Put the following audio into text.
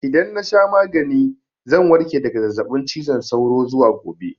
Idan na sha magani zan warke daga zazzaɓin cizon sauro zuwa gobe.